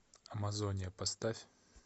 амазония поставь